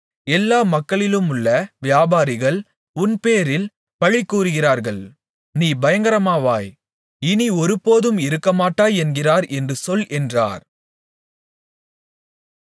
எல்லா மக்களிலுமுள்ள வியாபாரிகள் உன்பேரில் பழி கூறுகிறார்கள் நீ பயங்கரமாவாய் இனி ஒருபோதும் இருக்கமாட்டாய் என்கிறார் என்று சொல் என்றார்